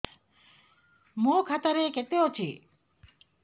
ମୋ ଖାତା ରେ କେତେ ଅଛି